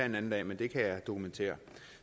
en anden dag men det kan jeg dokumentere